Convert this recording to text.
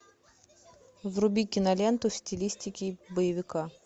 вруби киноленту в стилистике боевика